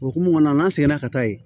Okumu kɔnɔn na n'an seginna ka taa yen